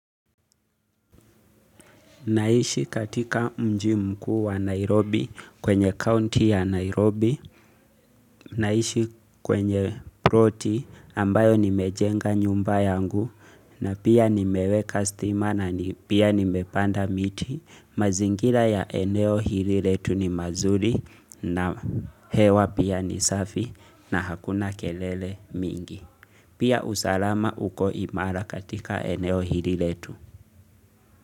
Naishi katika mji mkuu wa Nairobi kwenye county ya Nairobi, naishi kwenye proti ambayo nimejenga nyumba yangu na pia nimeweka stima na ni pia nimepanda miti. Mazingila ya eneo hili letu ni mazuri na hewa pia ni safi na hakuna kelele mingi. Pia usalama uko imara katika eneo hili letu.